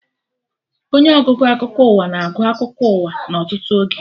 Onye ọgụgụ akụkọ ụwa na-agụ akụkọ ụwa na ọtụtụ oge